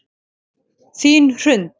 Þín Hrund.